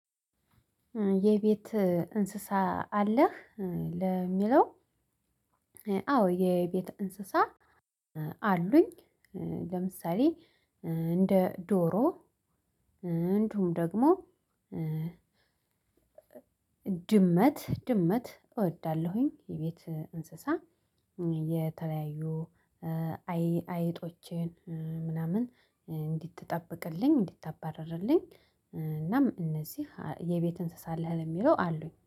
የቤት እንስሳ አለህ እ ለሚለው? አዎ የቤት እንስሳ እ አሉኝ እ ለምሳሌ እ እንደ ዶሮ እንዲሁም ደግሞ እ ድመት ድመት እወዳለሁኝ። የቤት እንስሳ እ የተለያዩ እ አይጦችን ምናምን እንድትጠብቅልኝ እንድታባርርልኝ እናም እነዚህ የቤት እንስሳ አለህ የሚለው አሉኝ